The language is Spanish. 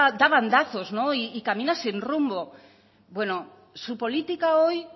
da bandazos y camia sin rumbo bueno su política hoy